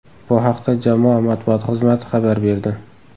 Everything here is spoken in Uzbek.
Bu haqda jamoa matbuot xizmati xabar berdi .